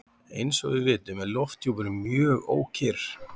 Eins og við vitum er lofthjúpurinn mjög ókyrr.